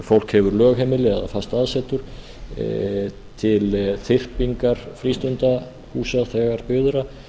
fólk hefur lögheimili eða það aðsetur til þyrpingar frístundahúsa þegar byggðra